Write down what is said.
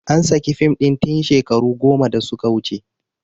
An saki fim ɗin tin shekaru goma da su ka wuce